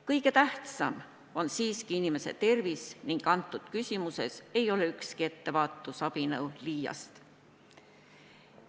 Kõige tähtsam on siiski inimese tervis ning selles küsimuses ei ole ükski ettevaatusabinõu liiast.